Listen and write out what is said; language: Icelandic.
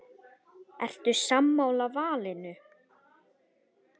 Ertu sammála valinu?